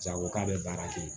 Jago k'a bɛ baara kɛ